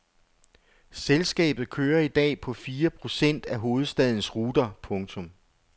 Selskabet kører i dag på fire procent af hovedstadens ruter. punktum